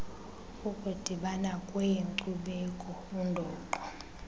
ukudibana kweenkcubeko undoqo